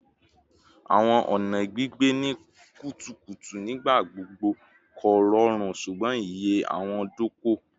Awọn ọna gbigbe ni kutukutu nigbagbogbo korọrun ṣugbọn iye owo-doko